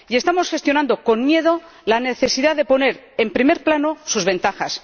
Y estamos gestionando con miedo la necesidad de poner en primer plano sus ventajas.